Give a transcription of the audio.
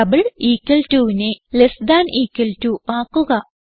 double equal to നെ less than equal to ആക്കുക